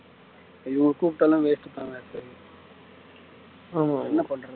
இவங்கள கூப்பிட்டாலும் waste தான் என்ன பண்றது